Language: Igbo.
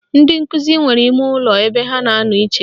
Ndị nkụzi nwere imeụlọ ebe ha na-anọ iche